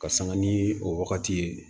Ka sanga ni o wagati ye